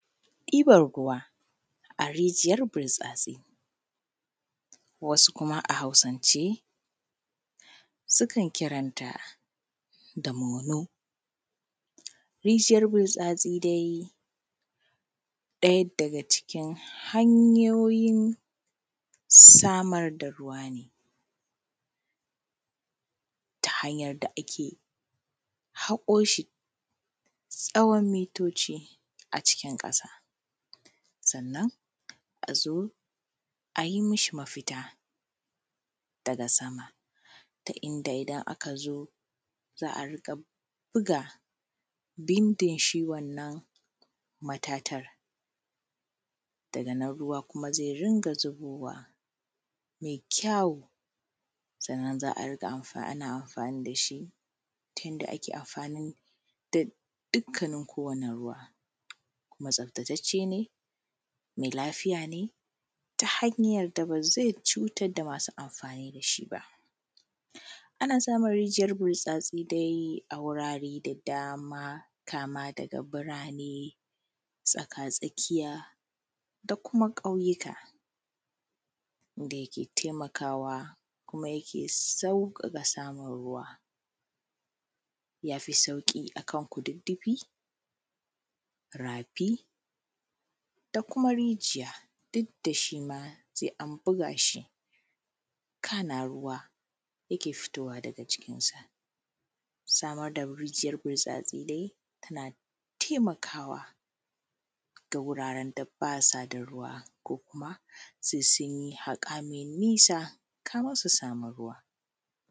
Diban ruwa a rijiyan burtsatsai wasu kuma a hausance su kan kiran ta da tamolau, rijiyar burtstsai dai ɗaya daga cikin hanyoyin samar da ruwa ne ta hanyar da ake haƙo shi tsawon mitoci a cikin ƙasa, sannan a zo a yi mishi mafita daga sama ta yadda idan aka zo za a riƙa bugabindin shi wannan matatar ruwa kuma zai riƙa zubowa mai kyau. Sannan za a riƙa amfana da shi ta yadda ake amfani da dukkanin kowane ruwa kuma tsaftatacce ne me lafiya ne ta hanyar da ba zai cutar da masu amfani da shi ba. Ana samun rijiyar burtsatsai dai a wurare da dama kama daga birane, tsakatsakiya da kuma ƙauyuka da yake taimakawa kuma yake sauƙaƙa samar da ruwa, ya fi sauƙi akan kududdufi, rafi da kuma rijiya duk da shi ma sai an buga shi kana ruwa yake fitowa daga cikinsa. Samar da rijiyar butsatsai dai yana taimakawa a wuraren da ba sa da ruwa, sai sun yi haƙa mai nisa kamun su samu.